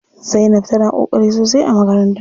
Zainab tana ƙoƙari sosai a makaranta.